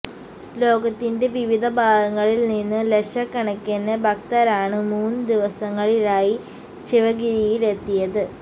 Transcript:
ലോകത്തിന്റെ വിവിധ ഭാഗങ്ങളില് നിന്നും ലക്ഷക്കണക്കിന് ഭക്തരാണ് മൂന്നു ദിവസങ്ങളിലായി ശിവഗിരിയിലെത്തിയത്